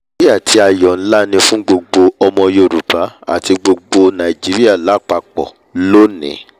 ìwúrí àti àyọ̀ nlá ni fún gbogbo ọmọ yorùbá àti gbogbo nàìjíríà lápapọ̀ lónìí!